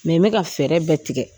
n bɛ ka fɛɛrɛ bɛɛ tigɛ